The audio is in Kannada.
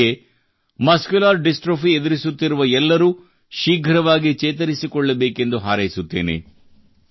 ಹಾಗೆಯೇ ಮಸ್ಕ್ಯುಲರ್ ಡಿಸ್ಟ್ರೋಫಿ ಎದುರಿಸುತ್ತಿರುವ ಎಲ್ಲರೂ ಶೀಘ್ರವಾಗಿ ಚೇತರಿಸಿಕೊಳ್ಳಬೇಕೆಂದು ಹಾರೈಸುತ್ತೇನೆ